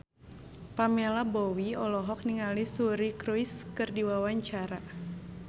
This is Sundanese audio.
Pamela Bowie olohok ningali Suri Cruise keur diwawancara